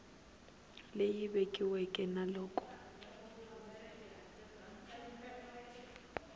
leyi vekiweke na loko a